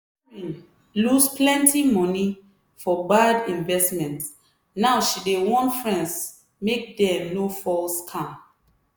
karen lose plenty moni for bad investment now she dey warn friends make dem no fall scam.